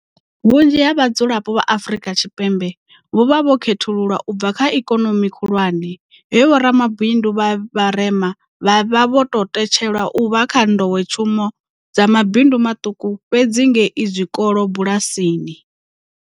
Vhunzhi ha vhadzulapo vha Afrika Tshipembe vho vha vho khethululwa u bva kha ikonomi khulwane, he vhoramabindu vha vharema vha vha vho te tshelwa u vha kha nḓowetshumo dza mabindu maṱuku fhedzi ngei zwikolo bulasini.